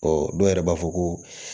Ɔ dɔw yɛrɛ b'a fɔ ko